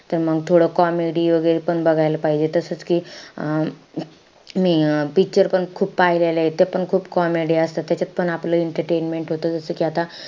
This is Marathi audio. त मंग थोडं comedy वैगेरे पण बघायला पाहिजे. तसचं कि मी picture पण खूप पाहिलेले आहेत. ते पण खूप comedy असतात. त्याच्यात पण entertainment होतं. जसं कि आता,